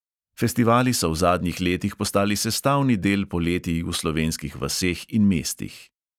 Festivali so v zadnjih letih postali sestavni del poletij v slovenskih vaseh in mestih.